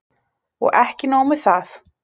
Og ekki nóg með það